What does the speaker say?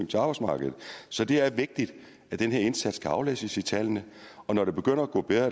til arbejdsmarkedet så det er vigtigt at den her indsats kan aflæses i tallene når det begynder at gå bedre